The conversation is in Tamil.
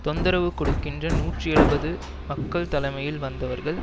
தொந்தரவு கொடுக்கின்ற நூற்றி எழுபது மக்கள் தலைமையில் வந்தவர்கள்